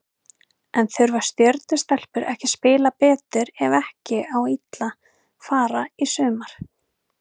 En þurfa Stjörnu stelpur ekki að spila betur ef ekki á illa fara í sumar?